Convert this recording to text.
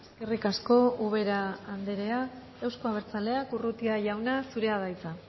eskerrik asko ubera anderea euzko abertzaleak urrutia jauna zurea da hitza